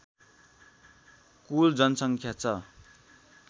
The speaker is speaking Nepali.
कुल जनसङ्ख्या छ